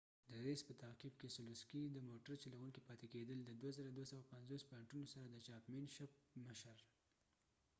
د ریس په تعقیب ، کیسلوسکي د موټر چلوونکو پاتې کیدل، د ۲،۲۵۰ پوائنټونو سره د چامپين شپ مشر